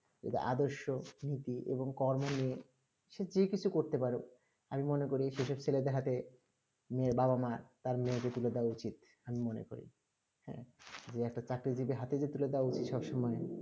আদর্শ নীতি এবং কর্ম নিয়ে যে কিছু করতে পারুক আমি মনে করি সেই সব ছেলেদের হাতে মেয়ের বাবা-মা তার মেয়েকে তুলে দেওয়া উচিত আমি মনে করি হ্যাঁ যে একটা চাকরি যদি হাতের ভিতরে পাব সবসময়